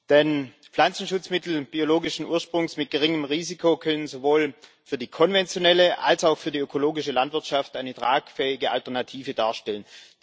Denn Pflanzenschutzmittel biologischen Ursprungs mit geringem Risiko können sowohl für die konventionelle als auch für die ökologische Landwirtschaft eine tragfähige Alternative darstellen.